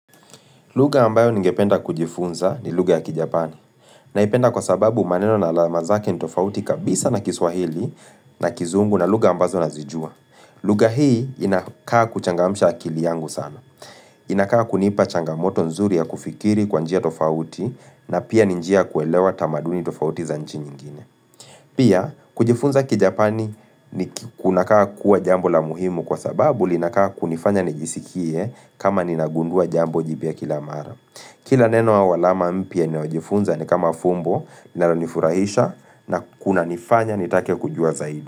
Lugha ambayo ningependa kujifunza ni lugha ya kijapani naipenda kwa sababu maneno na alama zake ni tofauti kabisa na kiswahili na kizungu na lugha ambazo nazijua. Lugha hii inakaa kuchangamsha akili yangu sana. Inakaa kunipa changamoto nzuri ya kufikiri kwa njia tofauti na pia ni njia ya kuelewa tamaduni tofauti za nchi nyingine. Pia kujifunza kijapani kunakaa kuwa jambo la muhimu kwa sababu linakaa kunifanya nijisikie kama ninagundua jambo jipya kila mara. Kila neno au alama mpya ninayo jifunza ni kama fumbo linalo nifurahisha na kunanifanya ni take kujua zaidi.